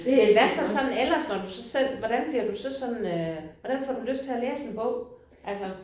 Hvad så sådan ellers når du så selv bliver du så sådan øh hvordan får du lyst til at læse en bog? Altså